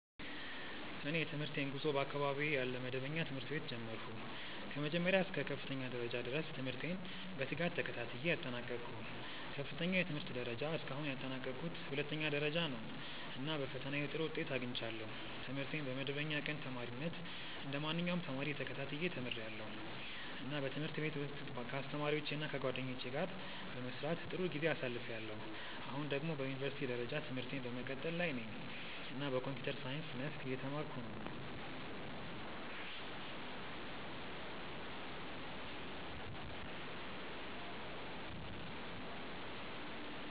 እኔ የትምህርቴን ጉዞ በአካባቢዬ ያለ መደበኛ ትምህርት ቤት ጀመርሁ። ከመጀመሪያ እስከ ከፍተኛ ደረጃ ድረስ ትምህርቴን በትጋት ተከታትዬ አጠናቀቅሁ። ከፍተኛው የትምህርት ደረጃ እስካሁን ያጠናቀቅሁት ሁለተኛ ደረጃ ነው፣ እና በፈተናዬ ጥሩ ውጤት አግኝቻለሁ። ትምህርቴን በመደበኛ ቀን ተማሪነት እንደ ማንኛውም ተማሪ ተከታትዬ ተምርያለሁ፣ እና በትምህርት ቤት ውስጥ ከአስተማሪዎቼ እና ከጓደኞቼ ጋር በመስራት ጥሩ ጊዜ አሳልፍያለሁ። አሁን ደግሞ በዩኒቨርሲቲ ደረጃ ትምህርቴን በመቀጠል ላይ ነኝ እና በኮምፒውተር ሳይንስ መስክ እየተማርኩ ነው።